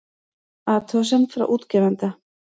Athugasemd frá útgefanda